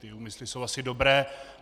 Ty úmysly jsou asi dobré.